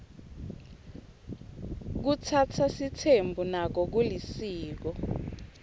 kutsatsa sitsembu nako kulisiko